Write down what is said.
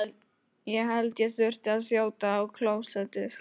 Á tertíer var berggrunnurinn tekinn mjög að þéttast af holufyllingum.